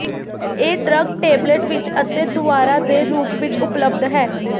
ਇਹ drug tablet ਵਿੱਚ ਅਤੇ ਦੁਵਾਰਾ ਦੇ ਰੂਪ ਵਿੱਚ ਉਪਲੱਬਧ ਹੈ